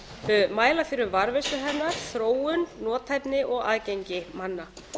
tungu mæla fyrir um varðveislu hennar þróun nothæfni og aðgengi manna